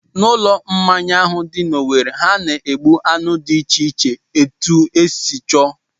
N'ulo mmanya ahụ dị n'Owere, ha na-egbu anụ dị iche iche etu I si chọọ